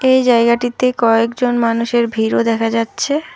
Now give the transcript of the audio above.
এই জায়গাটিতে কয়েকজন মানুষের ভীড় ও দেখা যাচ্ছে।